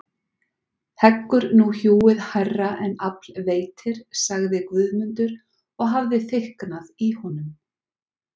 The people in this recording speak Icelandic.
Heggur nú hjúið hærra en afl veitir, sagði Guðmundur og hafði þykknað í honum.